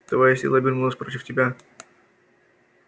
твоя сила обернулась против тебя